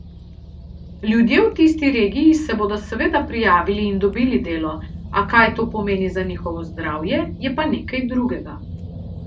Ljudje v tisti regiji se bodo seveda prijavili in dobili delo, a kaj to pomeni za njihovo zdravje, je pa nekaj drugega.